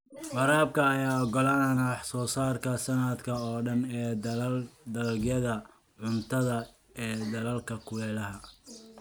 Waraabka ayaa ogolaanaya wax soo saarka sanadka oo dhan ee dalagyada cuntada ee dalalka kulaylaha.